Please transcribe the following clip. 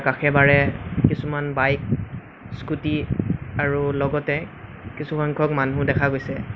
কাষে বাৰে কিছুমান বাইক স্কুটি আৰু লগতে কিছু সংখ্যক মানুহ দেখা গৈছে।